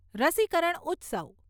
રસીકરણ ઉત્સવ